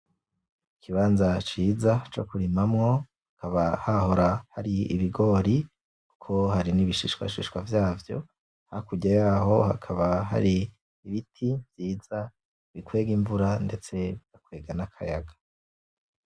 Ikibanza ciza co kurimamwo, hakaba hahora hari ibigori, kuko hari n'ibishishwashishwa vyavyo. Hakurya yaho hakaba hari ibiti vyiza bikwega imvura ndetse bizana akayaga.